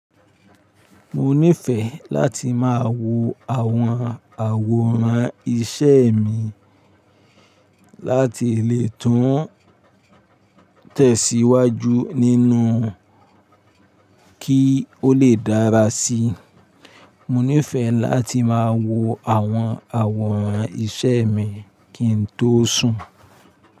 Mo nífẹẹ láti máa wo àwọn àwòrán iṣẹ́ mi láti lè tún tẹ̀síwájú nínú kí ó lè dára sí i. Mo nífẹẹ láti máa wo àwọn àwòrán iṣẹ́ mi kí n tó sùn.